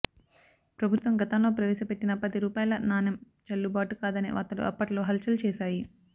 ప్రభుత్వం గతంలో ప్రవేశపెట్టిన పది రూపాయల నాణెం చల్లుబాటు కాదనే వార్తలు అప్పట్లో హుల్చల్ చేసాయి